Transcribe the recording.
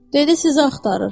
Dedi siz axtarır.